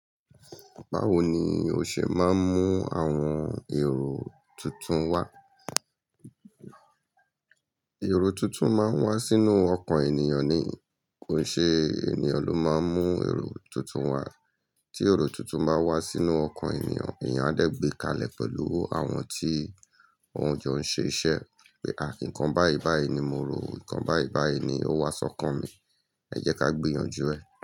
Báwo ni o ṣe máa ń mú àwọn èrò tuntun wá? Èrò tuntun máa ń wá sínú ọkàn ènìyàn ni, kò ṣe ènìyàn ló máa ń mú èrò tuntun wá. Tí èrò tuntun bá wá sínú ọkàn ènìyàn, ènìyàn á dẹ̀ gbé kalẹ̀ pẹ̀lú àwọn tí òun jọ ń ṣe iṣẹ́. Pé à nǹkan báyi báyi ni mo rò, nǹkan báyi báyi ni ó wá sọ́kàn mi, ẹ jẹ́ ká gbìyànjú ẹ̀.